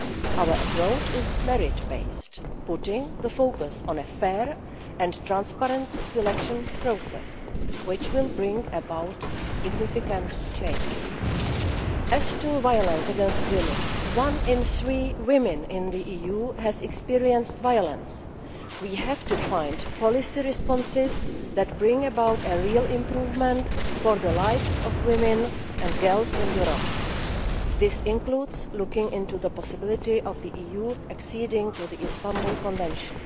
Our approach is merit based, putting the focus on a fair and transparent selection process, which will bring about significant change. As to violence against women, one in three women in the EU has experienced violence. We have to find policy responses that bring about a real improvement in the lives of women and girls in Europe. This includes looking into the possibility of the EU acceding to the Istanbul Convention.